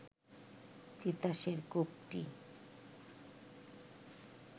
তিতাসের কূপটি